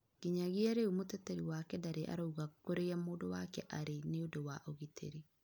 Ngĩnyagĩa rĩu mũteterĩ wake ndarĩ arauga kũrĩa mũndũ wake arĩ niũndu wa ũgĩtĩrĩ